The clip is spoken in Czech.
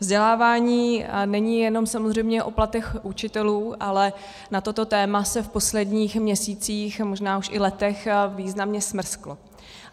Vzdělávání není jenom samozřejmě o platech učitelů, ale na toto téma se v posledních měsících, možná už i letech významně smrskl.